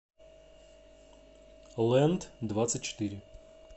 лэнд двадцать четыре